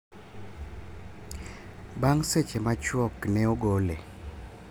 bang seche ma chuok ne ogole